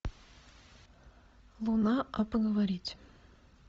луна а поговорить